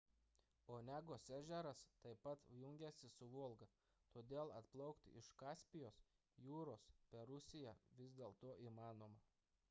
onegos ežeras taip pat jungiasi su volga todėl atplaukti iš kaspijos jūros per rusija vis dėlto įmanoma